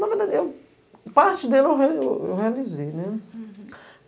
Na verdade, eu parte dele eu eu realizei, né. Uhum